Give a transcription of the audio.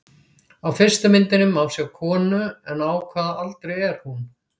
Á fyrstu myndinni má sjá konu, en á hvaða aldri er hún?